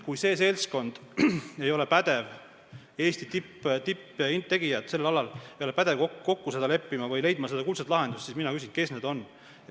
Kui need Eesti tipptegijad sellel alal ei ole pädevad milleski kokku leppima või leidma kuldset lahendust, siis ma küsin, kes üldse on.